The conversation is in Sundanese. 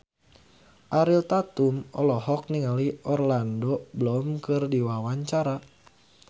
Ariel Tatum olohok ningali Orlando Bloom keur diwawancara